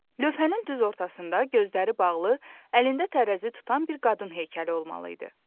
Lövhənin düz ortasında gözləri bağlı, əlində tərəzi tutan bir qadın heykəli olmalı idi.